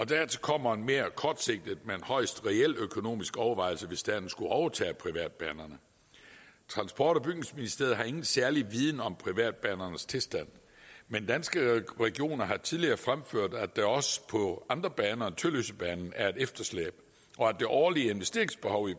dertil kommer en mere kortsigtet men højst reel økonomisk overvejelse hvis staten skulle overtage privatbanerne transport og bygningsministeriet har ingen særlig viden om privatbanernes tilstand men danske regioner har tidligere fremført at der også på andre baner end tølløsebanen er et efterslæb og at det årlige investeringsbehov i